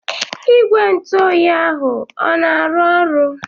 Igwe ntụ oyi ahụ o na-arụ ọrụ?